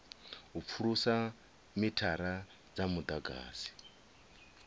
u pfulusa mithara wa mudagasi